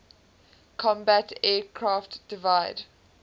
combat aircraft divide